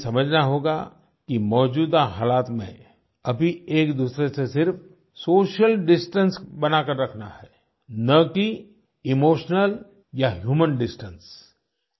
हमें ये समझना होगा कि मौजूदा हालात में अभी एक दूसरे से सिर्फ़ सोशल डिस्टेंस बना कर रखना है न कि इमोशनल या ह्यूमन डिस्टेंस